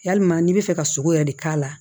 Yalima n'i bɛ fɛ ka sogo yɛrɛ de k'a la